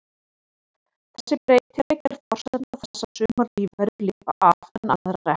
Þessi breytileiki er forsenda þess að sumar lífverur lifa af en aðrar ekki.